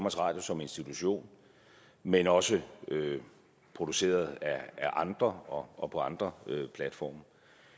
radio som institution men også produceret af andre og på andre platforme